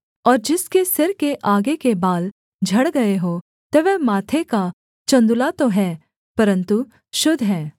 और जिसके सिर के आगे के बाल झड़ गए हों तो वह माथे का चन्दुला तो है परन्तु शुद्ध है